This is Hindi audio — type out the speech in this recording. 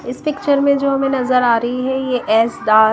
इस पिक्चर में जो हमें नजर आ रही हैं ये एस दाल--